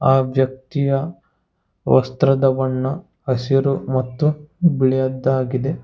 ಆ ವ್ಯಕ್ತಿಯ ವಸ್ತ್ರದ ಬಣ್ಣ ಹಸಿರು ಮತ್ತು ಬಿಳಿಯದ್ದಾಗಿದೆ.